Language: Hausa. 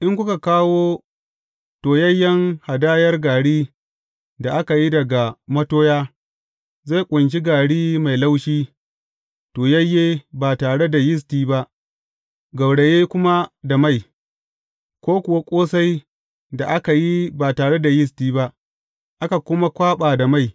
In kuka kawo toyayyen hadayar gari da aka yi daga matoya, zai ƙunshi gari mai laushi, toyayye ba tare da yisti ba, gauraye kuma da mai, ko kuwa ƙosai da aka yi ba tare da yisti ba, aka kuma kwaɓa da mai.